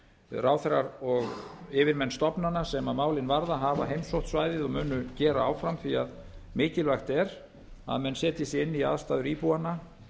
ráðherrar og yfirmál stofnana sem málið varða hafa heimsótt svæðið og munu gera áfram því að mikilvægt er að menn setji sig inn í aðstæður íbúanna